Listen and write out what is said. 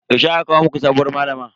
Yaushe aka kawo muku sabuwar malama?